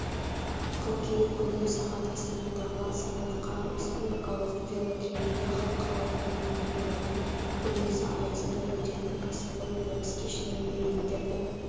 қыркүйек күні сағат астанадағы сарыарқа республикалық велотрегінде халықаралық мамандандырылған көрмесі аясында өтетін ксіпқой бокс кешіне билеттерді